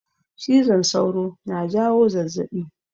Cizon sauro na jawo zazzaɓi